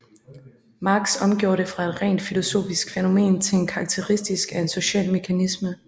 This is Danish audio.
Marx omgjorde det fra et rent filosofisk fænomen til en karakteristik af en social mekanisme